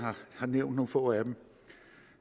har nævnt nogle få